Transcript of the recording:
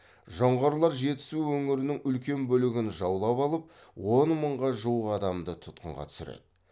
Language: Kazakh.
жоңғарлар жетісу өңірінің үлкен бөлігін жаулап алып он мыңға жуық адамды тұтқынға түсіреді